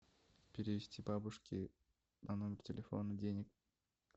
перевести бабушке на номер телефона денег